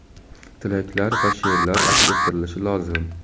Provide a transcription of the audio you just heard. tilaklar va she’rlar aks ettirilishi lozim.